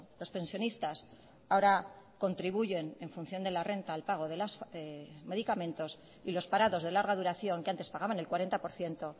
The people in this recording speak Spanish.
los pensionistas ahora contribuyen en función de la renta al pago de los medicamentos y los parados de larga duración que antes pagaban el cuarenta por ciento